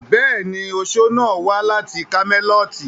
Bẹ́ẹ̀ni, oṣo náà wà láti kámẹ́lọ́tì.